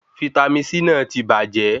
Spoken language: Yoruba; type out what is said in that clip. Vítámì C náà ti bàjẹ́